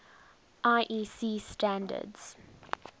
iec standards